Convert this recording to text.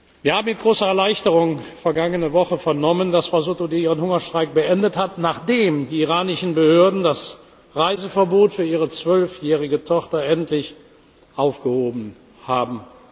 Wir haben mit großer Erleichterung vergangene Woche vernommen, dass Frau Sotoudeh ihren Hungerstreik beendet hat, nachdem die iranischen Behörden das Reiseverbot für ihre zwölfjährige Tochter endlich aufgehoben haben.